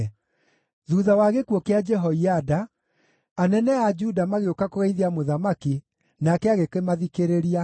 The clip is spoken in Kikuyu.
Thuutha wa gĩkuũ kĩa Jehoiada, anene a Juda magĩũka kũgeithia mũthamaki, nake agĩkĩmathikĩrĩria.